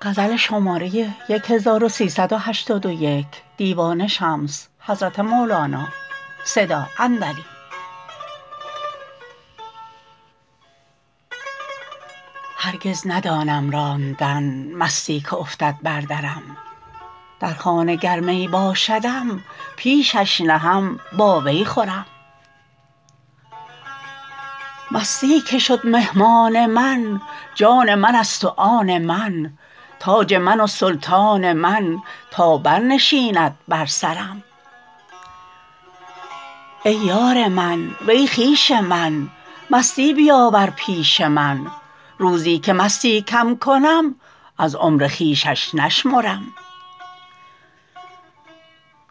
هرگز ندانم راندن مستی که افتد بر درم در خانه گر می باشدم پیشش نهم با وی خورم مستی که شد مهمان من جان منست و آن من تاج من و سلطان من تا برنشیند بر سرم ای یار من وی خویش من مستی بیاور پیش من روزی که مستی کم کنم از عمر خویشش نشمرم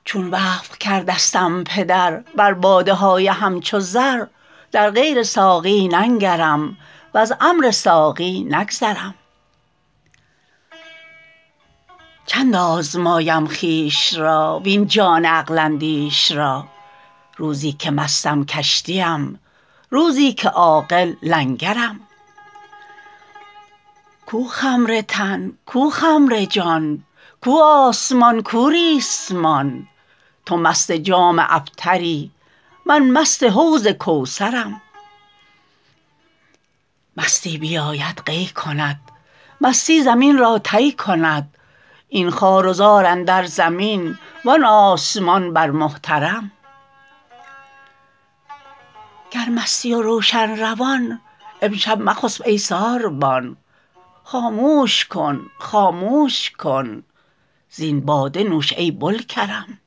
چون وقف کردستم پدر بر باده های همچو زر در غیر ساقی ننگرم وز امر ساقی نگذرم چند آزمایم خویش را وین جان عقل اندیش را روزی که مستم کشتیم روزی که عاقل لنگرم کو خمر تن کو خمر جان کو آسمان کو ریسمان تو مست جام ابتری من مست حوض کوثرم مستی بیاید قی کند مستی زمین را طی کند این خوار و زار اندر زمین وان آسمان بر محترم گر مستی و روشن روان امشب مخسب ای ساربان خاموش کن خاموش کن زین باده نوش ای بوالکرم